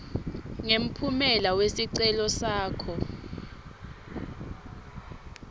ngemphumela wesicelo sakho